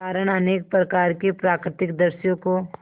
कारण अनेक प्रकार के प्राकृतिक दृश्यों को